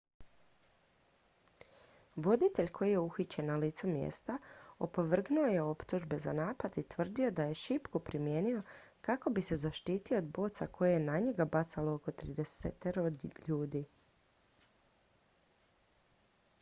voditelj koji je uhićen na licu mjesta opovrgnuo je optužbe za napad i tvrdio da je šipku primijenio kako bi se zaštitio od boca koje je na njega bacalo oko tridesetero ljudi